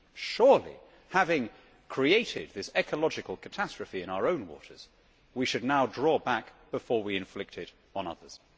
Surely having created this ecological catastrophe in our own waters, we should now draw back before we inflict it on others.